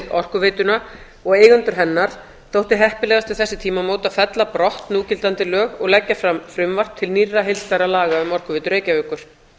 orkuveituna og eigendur hennar þótti heppilegast við þessi tímamót að fella brott núgildandi lög og leggja fram frumvarp til nýrra heildstæðra laga um orkuveitu reykjavíkur